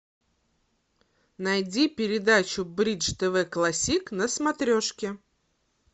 найди передачу бридж тв классик на смотрешке